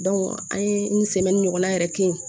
an ye ɲɔgɔn na yɛrɛ kɛ yen